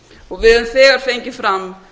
og við höfum þegar fengið fram